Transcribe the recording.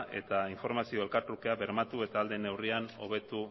eta informazio elkartrukea bermatu eta ahal den neurrian hobetu